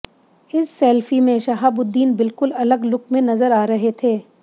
इस सेल्फी में शहाबुद्दीन बिल्कुल अलग लुक में नजर आ रहे थे